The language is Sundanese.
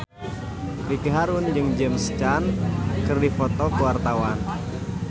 Ricky Harun jeung James Caan keur dipoto ku wartawan